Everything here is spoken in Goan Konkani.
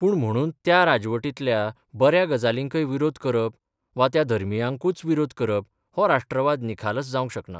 पूण म्हणून त्या राजवटींतल्या बऱ्या गजालींकय विरोध करप वा त्या धर्मियांकूच विरोध करप हो राष्ट्रवाद निखालस जावंक शकना.